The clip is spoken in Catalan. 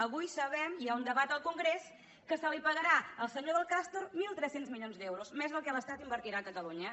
avui sabem hi ha un debat al congrés que se li pagarà al senyor del castor mil tres cents milions d’euros més del que l’estat invertirà a catalunya